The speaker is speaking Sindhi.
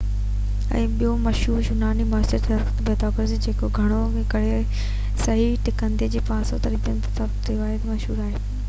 هڪ ٻيو مشهور يوناني ماهر رياضيات پيٿاگورس آهي جيڪو گهڻو ڪري صحيح ٽڪنڊي جي پاسن جي طرفن بابت تعلقات ٿيوري جي ڪري مشهور آهي